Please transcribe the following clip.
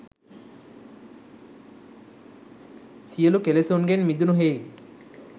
සියලු කෙළෙසුන්ගෙන් මිදුණු හෙයින්